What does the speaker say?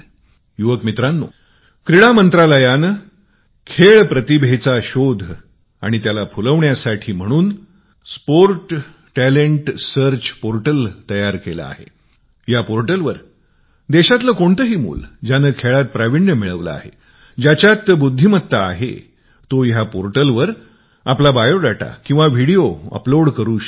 तरुण मित्रांनो खेळ मंत्रालयाने खेळ प्रतिभेचा शोध आणि त्याला फुलविण्यासाठी म्हणून क्रीडा बौद्धिक संशोधन पोर्टल बनविले आहे जिथे देशातील कोणतीही मुले ज्याने खेळात प्राविण्य मिळवले आहे ज्याच्यात टॅलेंट आहे तो या पोर्टलवर आपली माहिती किंवा व्हिडीओ अपलोड करू शकतो